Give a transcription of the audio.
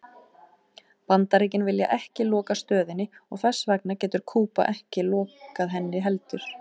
Bandaríkin vilja ekki loka stöðinni og þess vegna getur Kúba ekki lokað henni heldur.